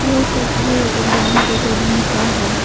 यह तस्वीर dance academy का है।